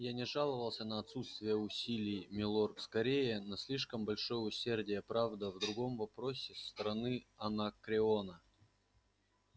я не жаловался на отсутствие усилий милорд скорее на слишком большое усердие правда в другом вопросе со стороны анакреона